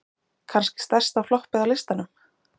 Kannski stærsta floppið á listanum?